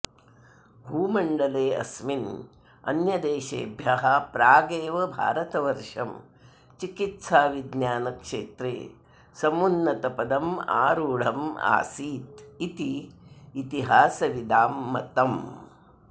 भूमण्डले अस्मिन् अन्यदेशेभ्यः प्रागेव भारतवर्षं चिकित्साविज्ञानक्षेत्रे समुन्नतपदमारुढम् आसीदिति इतिहासविदां मतम्